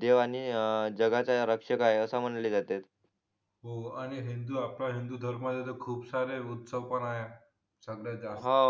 देव आणि जगाचा रक्षक आहे असे म्हणले जाते हो आणि हिंदू आपला हिंदू धर्म याचे खूप सारे उत्सव पण आहे सगळ्यात जास्त हा